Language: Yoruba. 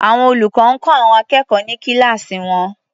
Àwọn olùkọ́ ń kọ́ àwọn akẹ́kọ̀ọ́ ní kíláàsì wọn.